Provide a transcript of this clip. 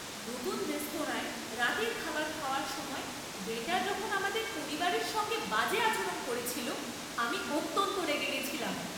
নতুন রেস্তোরাঁয় রাতের খাবার খাওয়ার সময় ওয়েটার যখন আমাদের পরিবারের সঙ্গে বাজে আচরণ করেছিল, আমি অত্যন্ত রেগে গেছিলাম।